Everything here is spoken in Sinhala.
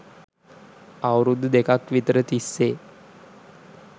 අවුරුදු දෙකක් විතර තිස්සේ